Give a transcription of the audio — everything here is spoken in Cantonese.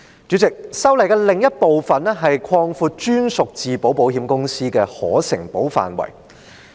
主席，修例的另一部分，是擴闊在香港成立的專屬自保保險公司的可承保範圍。